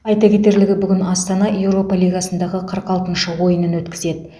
айта кетерлігі бүгін астана еуропа лигасындағы қырық алты ойынын өткізеді